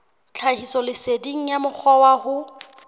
tlhahisoleseding ya mokgwa wa ho